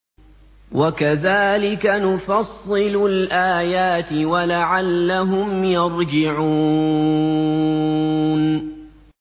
وَكَذَٰلِكَ نُفَصِّلُ الْآيَاتِ وَلَعَلَّهُمْ يَرْجِعُونَ